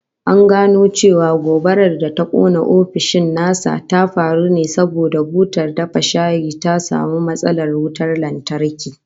An gano cewa gobarar da ta kona ofishin nasa ta faru ne saboda butar dafa shayi ta samu matsalar wutan lantarki